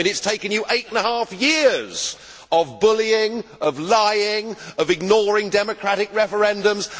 It has taken you eight and a half years of bullying, of lying, of ignoring democratic referendums.